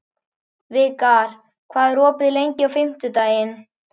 Vikar, hvað er opið lengi á fimmtudaginn?